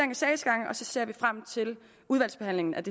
sagsgange og så ser vi frem til udvalgsbehandlingen af